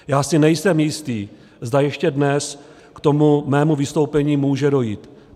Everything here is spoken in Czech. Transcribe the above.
Já si nejsem jistý, zda ještě dnes k tomu mému vystoupení může dojít.